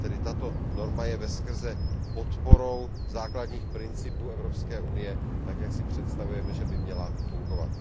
Tato norma je tedy veskrze podporou základních principů Evropské unie tak, jak si představujeme, že by měla fungovat.